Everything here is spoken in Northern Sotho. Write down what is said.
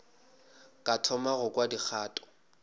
ka thoma go kwa dikgato